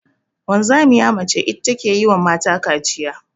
Wanzamiya mace ita ta ke wa mata kaciya.